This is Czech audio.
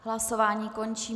Hlasování končím.